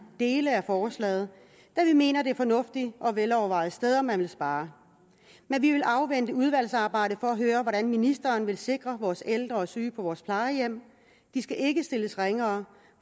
dele af forslaget da vi mener det er fornuftige og velovervejede steder man vil spare men vi vil afvente udvalgsarbejdet for at høre hvordan ministeren vil sikre vores ældre og syge på vores plejehjem de skal ikke stilles ringere